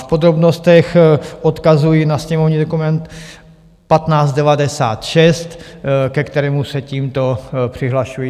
V podrobnostech odkazuji na sněmovní dokument 1596, ke kterému se tímto přihlašuji.